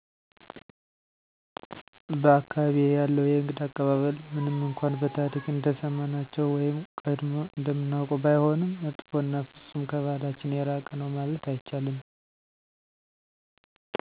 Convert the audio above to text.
በ አካባቢየ ያለው የእንግዳ አቀባበል ምንም እነኳን በታሪክ እንደሰማናቸው ወይም ቀጀሞ እንደምናውቀው ባይሆንም መጥፎ እና ፍፁም ከበህላችን የራቀ ነው ማለት አይቻልም